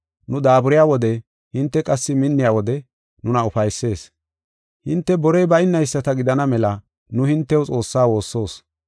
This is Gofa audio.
Nu daaburiya wode hinte qassi minniya wode nuna ufaysees. Hinte borey baynayisata gidana mela nu hintew Xoossaa woossoos.